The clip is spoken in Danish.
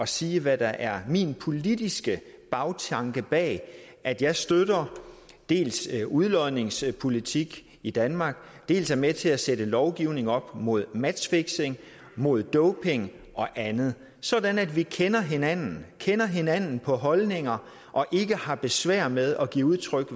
sige hvad der er min politiske bagtanke bag at jeg støtter dels udlodningspolitik i danmark dels er med til at sætte lovgivning op mod matchfixing mod doping og andet sådan at vi kender hinanden kender hinanden på holdninger og ikke har besvær med at give udtryk